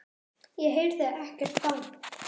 Ég heyrði ekkert bank.